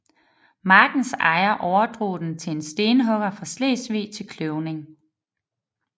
Markens ejer overdrog den til en stenhugger fra Slesvig til kløvning